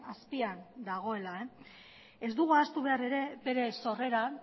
azpian dagoela ez dugu ahaztu behar ere bere sorreran